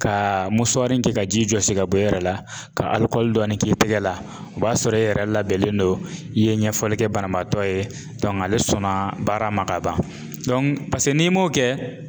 Ka kɛ ka ji jɔsi ka bɔ e yɛrɛ la, ka alikɔli dɔɔni k'i tɛgɛ la o b'a sɔrɔ e yɛrɛ labɛnnen don, i ye ɲɛfɔli kɛ banabaatɔ ye ale sɔnna baara ma ka ban paseke n'i m'o kɛ.